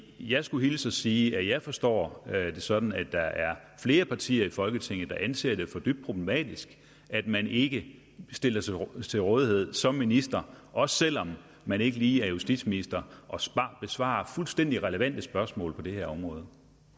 jeg skulle hilse sige at jeg forstår det sådan at der er flere partier i folketinget der anser det for dybt problematisk at man ikke stiller sig til rådighed som minister også selv om man ikke lige er justitsminister og besvarer fuldstændig relevante spørgsmål på det her område